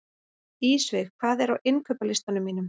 Ísveig, hvað er á innkaupalistanum mínum?